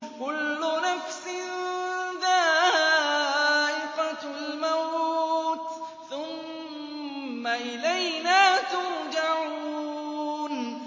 كُلُّ نَفْسٍ ذَائِقَةُ الْمَوْتِ ۖ ثُمَّ إِلَيْنَا تُرْجَعُونَ